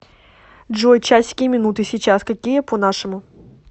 джой часики и минуты сейчас какие по нашему